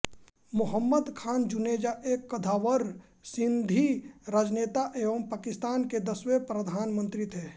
मोहम्मद खान जुनेजो एक कद्दावर सिंधी राजनेता एवं पाकिस्तान के दसवें प्रधानमंत्री थे